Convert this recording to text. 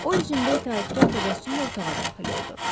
O üzündə itaətkar təbəssümlə otağa daxil oldu.